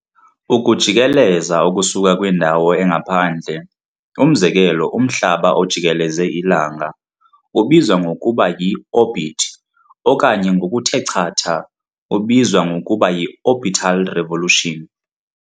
Ukujikeleza okusuka kwindawo engaphandle umzekelo umhlaba ojikeleze ilanga ubizwa ngokuba yi-orbit okanye ngokuthe chatha ubizw ngokuba yi-orbital revolution.